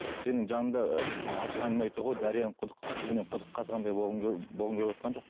сенің жаныңда артық әңгіме айтуға дарияның құдық түбінен құдық қазғандай болғым келіп болғым келівотқан жоқ